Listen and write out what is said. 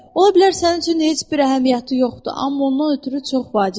Ola bilər sənin üçün heç bir əhəmiyyəti yoxdur, amma ondan ötrü çox vacibdir.